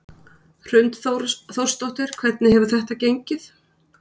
Hrund Þórsdóttir: Hvernig hefur þetta gengið?